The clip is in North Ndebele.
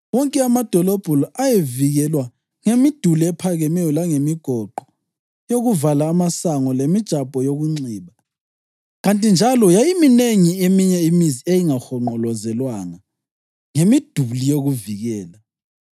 Wonke amadolobho la ayevikelwa ngemiduli ephakemeyo langemigoqo yokuvala amasango lemijabo yokunxiba, kanti njalo yayiminengi eminye imizi eyayingahonqolozelwanga ngemiduli yokuvikela.